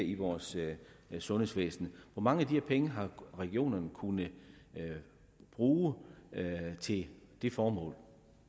i vores sundhedsvæsen hvor mange af de her penge har regionerne kunnet bruge til det formål